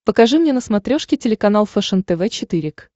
покажи мне на смотрешке телеканал фэшен тв четыре к